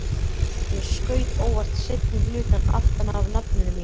Ég skaut óvart seinni hlutann aftan af nafninu mínu.